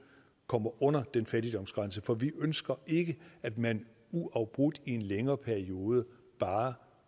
kommer under den fattigdomsgrænse for vi ønsker ikke at man uafbrudt i en længere periode bare